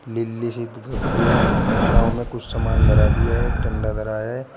Lily सी एक धोती है नांव में कुछ सामान धरा भी है एक डंडा धरा है।